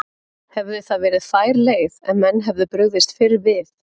Hefði það verið fær leið ef menn hefðu brugðist fyrr við?